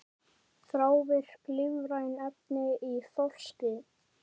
Þrávirk lífræn efni í þorski